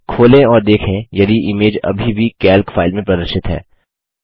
खोलें और देखें यदि इमेज अभी भी कैल्क फाइल में प्रदर्शित है